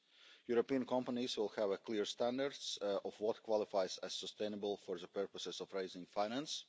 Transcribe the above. European companies will have a clear standard of what qualifies as sustainable for the purposes of raising finance.